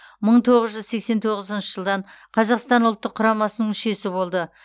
мың тоғыз жүз сексен тоғызыншы жылдан қазақстан ұлттық құрамасының мүшесі болды